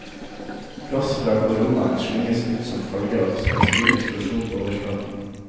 Gass fra koronaen slynges ut som følge av en stor eksplosjon på overflaten.